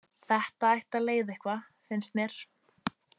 Þetta ætti að leiða eitthvað, finnst mér.